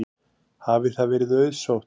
Hafi það verið auðsótt.